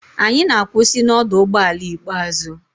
Anyị na-akwụsị na ọdụ ụgbọ ala ikpeazụ.